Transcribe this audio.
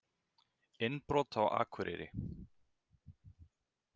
Innbrot á Akureyri